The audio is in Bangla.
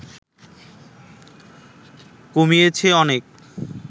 কমিয়েছে অনেক